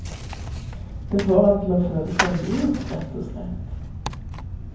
Det får en til å føle seg lurt, rett og slett.